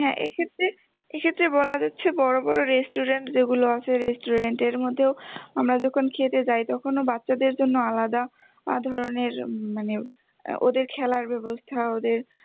হ্যাঁ এক্ষেত্রে এক্ষেত্রে বলা যাচ্ছে বড় বড় restaurant যেগুলো আছে restaurant এর মধ্যেও আমরা যখন খেতে যাই তখনো বাচ্চাদের জন্য আলাদা ধরনের মানে ওদের খেলার ব্যবস্থা ওদের